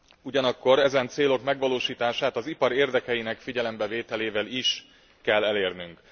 Ugyanakkor ezen célok megvalósítását az ipar érdekeinek figyelembevételével is kell elérnünk.